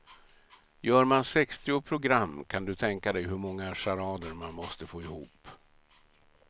Gör man sextio program kan du tänka dig hur många charader man måste få ihop.